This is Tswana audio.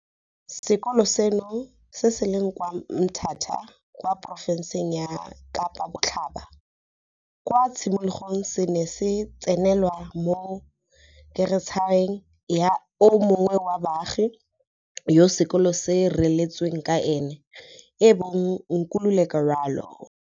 Sekolo seno, se se leng kwa Mthatha kwa porofenseng ya Kapa Botlhaba, kwa tshimologong se ne se tsenelwa mo keratšheng ya o mongwe wa baagi yo sekolo seno se reeletsweng ka ene, ebong Nkululeko Ralo.